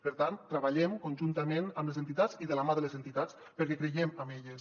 per tant treballem conjuntament amb les entitats i de la mà de les entitats perquè creiem en elles